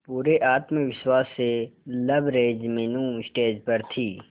पूरे आत्मविश्वास से लबरेज मीनू स्टेज पर थी